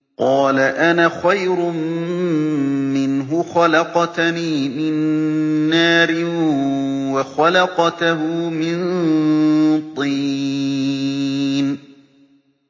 قَالَ أَنَا خَيْرٌ مِّنْهُ ۖ خَلَقْتَنِي مِن نَّارٍ وَخَلَقْتَهُ مِن طِينٍ